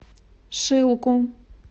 шилку